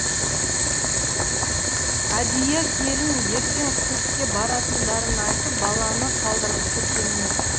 әдия келін ертең циркке баратындарын айтып баланы қалдырғысы келмеді